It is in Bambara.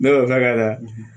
Ne taa la